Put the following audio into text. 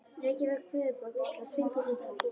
Reykjavík, höfuðborg Íslands, fimm þúsund íbúar.